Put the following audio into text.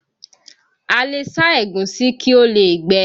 A le sá ẹ̀gúsí kí ó lè gbẹ